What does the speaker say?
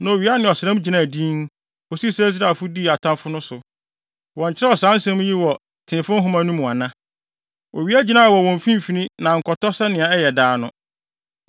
Na owia ne ɔsram gyinaa dinn, kosii sɛ Israelfo dii atamfo no so. Wɔnkyerɛw saa nsɛm yi wɔ Teefo Nhoma no mu ana? Owia gyinae wɔ wim mfimfini na ankɔtɔ sɛnea ɛyɛ daa no.